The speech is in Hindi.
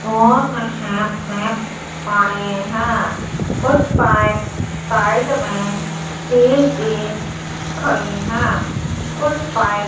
और पड़े हैं कुछ पाइप साइड में स्टील की खड़े हैं कुछ पाइप --